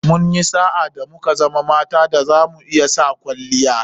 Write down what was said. Munyi sa'a da muka zama mata da zamu iya sa [kwalliya]